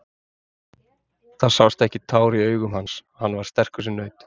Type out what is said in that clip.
Það sást ekki tár í augum hans, hann var sterkur sem naut.